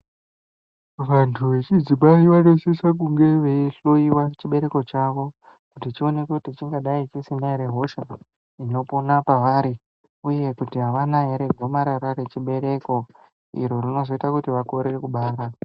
Vantu vechidzimai vanosisa kunge veihloiwa chibereko chavo chechionekwa kuti chingadai chisina ere hosha inopona pavari uye kuti avana ere gomarara rechibereko iro rinozoita kuti vakorere kubara.